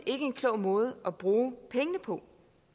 en klog måde at bruge pengene på